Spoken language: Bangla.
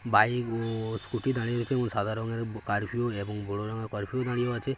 ভাইগো স্কুটি দাড়িয়ে আছেএবং সাদা রংঙের কাফিঊ এবং বড়ো রং-এর কাফিঊ দাড়িয়ে আছে --।